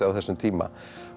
á þessum tíma